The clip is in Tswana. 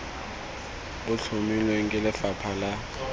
bo tlhomilweng ke lefapha la